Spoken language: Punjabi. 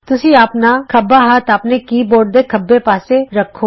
ਤੁਸੀਂ ਆਪਣਾ ਖੱਬਾ ਹੱਥ ਆਪਣੇ ਕੀ ਬੋਰਡ ਦੇ ਖੱਬੇ ਪਾਸੇ ਰੱਖੋ